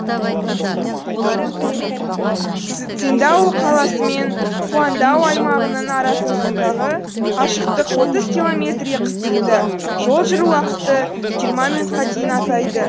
циндао қаласы мен хуаңдао аймағының арасасындағы қашықтық отыз километрге қысқарды жол жүру уақыты жиырма минутқа дейін азайды